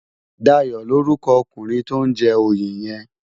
Dayo lórúkò òkúnrin tó n jè óyé yèn